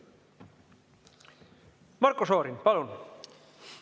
Marko Šorin, palun!